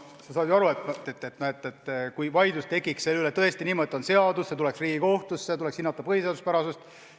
Sa saad ju aru, et vaidlus selle üle tekiks tõesti põhjusel, et on konkreetne seadus ja see tuleks Riigikohtusse, kus tuleks hinnata selle põhiseaduspärasust.